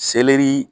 Selɛri